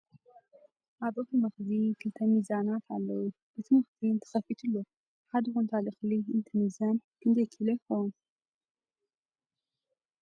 ኣብ እክሊ መክዚን ክልተ ሚዛናት ኣለዉ ። እቲ ምክዚን ተከፊቱ ኣሎ ። ሓደ ኩንታል እክሊ እንትምዘን ክንደይ ኪሎ ይከውን ?